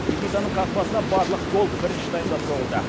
никитаның қақпасына барлық гол бірінші таймда соғылды